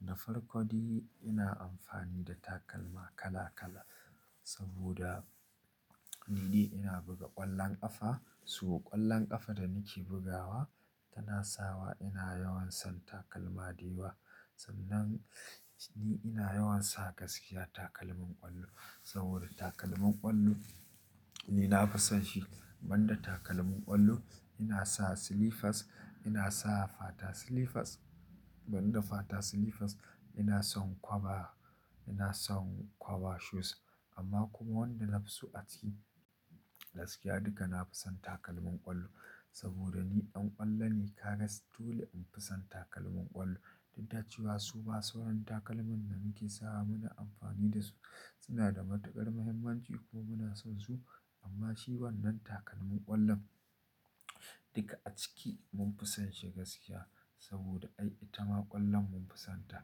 Nafarko dai ina amfani da takalma kala-kala saboda ni dai ina buga ƙwallon ƙafa. Sabo ƙwallon ƙafa da nake bugawa tana sawa ina yawan san takalma dayawa. Sannan ni ina yawan sa gaskiya takalmin ƙwallo saboda takalmin ƙwallo ni nafi son shi. Banda takalmin ƙwallo ina sa slippers, ina sa fata slippers. Banda fata slippers ina son kwaba, ina son kwaba shoes. Amma kuma wanda na fi su a ciki gaskiya duka nafi son takalmin ƙwallo saboda ni ɗan ƙwallo ne. Kaga dole in fi son takalmin ƙwallo. Dudacewa suma sauran takalman da muke sawa muna amfani da su suna da matuƙar muhimmanci ko muna son su amma shi wannan takalmin ƙwallon duka a ciki mun fisan shi gaskiya saboda ai ita ma ƙwallon mun fisanta.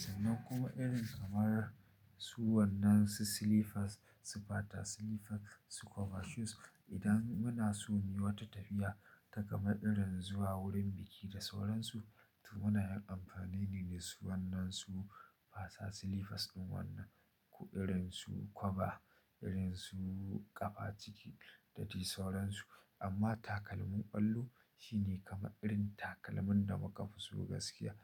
Sannan kuma irin kamar su wannan su slippers, su fata slippers, su kwaba shoes idan muna so muyi wata tafiya ta kama irin zuwa wurin biki da sauran su to munayin amfani ne dasu wannan su fata slippers ɗin wannan. Ko irin su kwaba, irin su ƙafa ciki da dai sauran su. Amma takalmin ƙwallo shi ne kama irin takalmin da muka fi so gaskiya.